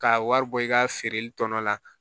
Ka wari bɔ i ka feereli tɔ la